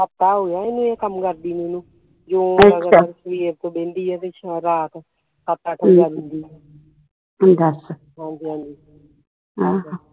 ਹਫਤਾ ਹੋਗਿਆ ਇਹਨੂੰ ਇਹ ਕੰਮ ਕਰਦੀ ਨੂੰ ਇਹਨੂੰ ਜੋ ਲਗਾਤਾਰ ਮਸ਼ੀਨ ਤੇ ਬਹਿੰਦੀ ਆ ਤੇ ਰਾਤ ਸੱਤ ਅੱਠ ਵਜਾ ਦਿੰਦੀ ਏ ਹਾਜੀ ਹਾਂਜੀ